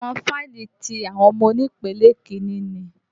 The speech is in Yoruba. Àwọn fáìlì ti àwọn ọmọ onípele kìíni ni.